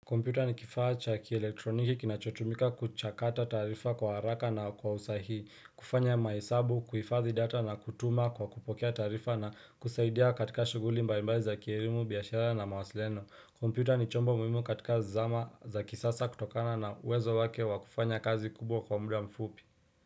Kompyuta ni kifaa cha kielektroniki kinachotumika kuchakata tarifa kwa haraka na kwausahii kufanya maisabu kuhifadhi data na kutuma kwa kupokea tarifa na kusaidia katika shuguli mbalimbali za kielimu biashara na mawasiliano kompyuta ni chombo muhimu katika zizama za kisasa kutokana na uwezo wake wakufanya kazi kubwa kwa muda mfupi.